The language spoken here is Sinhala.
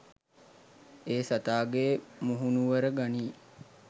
ඒ සතාගේ මුහුණුවර ගනී